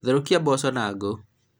therũkia mboco na ngũ